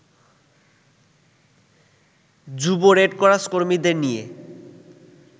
যুব রেডক্রস কর্মীদের নিয়ে